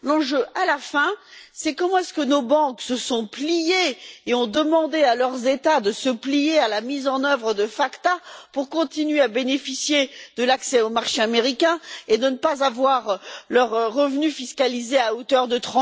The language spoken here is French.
L'enjeu, à la fin, c'est comment est ce que nos banques se sont pliées et ont demandé à leurs États de se plier à la mise en œuvre de la loi FACTA pour continuer à bénéficier de l'accès au marché américain et ne pas voir leurs revenus taxés à hauteur de